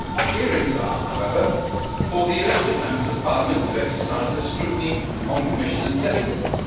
Hearings are, however, for the elected Members of Parliament to exercise their scrutiny on Commissioners designate.